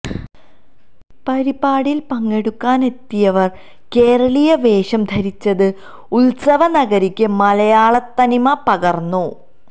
പരിപാടിയിൽ പങ്കെടുക്കാനെത്തിയവർ കേരളീയ വേഷം ധരിച്ചത് ഉത്സവ നഗരിക്ക് മലയാളത്തനിമ പകർന്നു